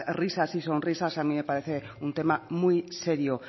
risas y sonrisas a mí me parece un tema muy serio